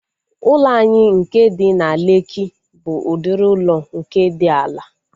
Ụlọ anyị nke dị na Lekki bụ udiri ụlọ nke dị ala